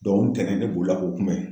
o ntɛnɛn ne bolila k'u kunbɛn.